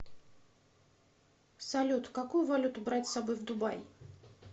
салют какую валюту брать с собой в дубай